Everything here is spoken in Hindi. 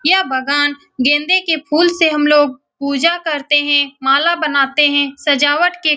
यह बगान गेंदे के फूल से हम लोग पूजा करते हैं माला बनाते हैं सजावट के --